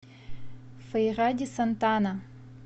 фейра ди сантана